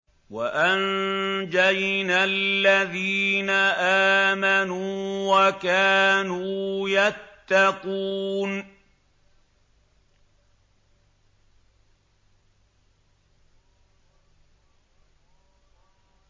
وَأَنجَيْنَا الَّذِينَ آمَنُوا وَكَانُوا يَتَّقُونَ